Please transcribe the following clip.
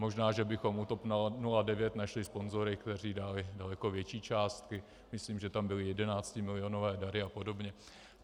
Možná že bychom u TOP 09 našli sponzory, kteří dali daleko větší částky, myslím, že tam byly jedenáctimilionové dary a podobně.